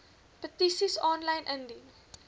petisies aanlyn indien